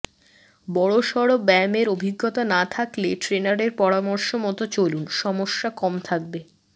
বড়সড় ব্যায়ামের অভিজ্ঞতা না থাকলে ট্রেনারের পরামর্শ মতো চলুন সমস্যা কম থাকবে